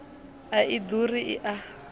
a i ḓuri i a